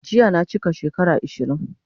Jiya na chika shekara 20